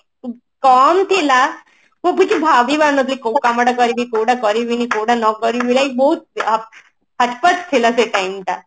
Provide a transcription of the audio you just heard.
କମ ଥିଲା ମୁଁ କିଛି ଭାବି ପାରୁନଥିଲି କୋଉ କାମ ଟା କରିବି କୋଉଟା କରିବିନି କୋଉଟା ନ କରିବି like ବହୁତ ଥିଲା ସେ time ଟା